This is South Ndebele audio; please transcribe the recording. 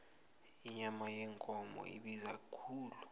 inyama yekomo ibiza khulu